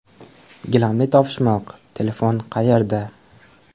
Gilamli topishmoq: telefon qayerda?.